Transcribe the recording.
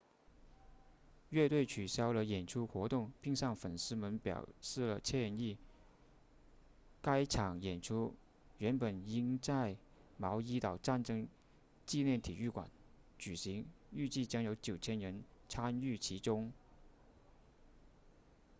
乐队取消了演出活动并向粉丝们表示了歉意该场演出原本应在毛伊岛战争纪念体育场举行预计将有9000人参与其中